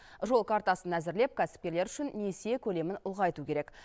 жол картасын әзірлеп кәсіпкерлер үшін несие көлемін ұлғайту керек